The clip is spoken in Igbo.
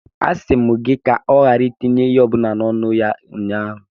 A sị m gị ka ọ ghara itinye ihe ọ bụla n'ọnụ ya ụnyahụ.